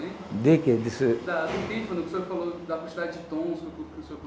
De que Da do pífano que o senhor falou da quantidade de tons